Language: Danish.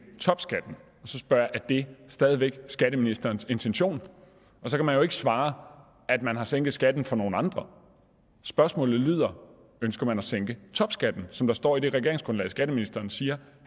topskatten og så spørger jeg er det stadig væk skatteministerens intention og så kan man jo ikke svare at man har sænket skatten for nogle andre spørgsmålet lyder ønsker man at sænke topskatten som der står i det regeringsgrundlag skatteministeren siger